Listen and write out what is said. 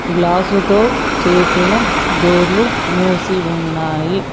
గ్లాసుతో చేసిన డోర్లు మూసి ఉన్నాయి.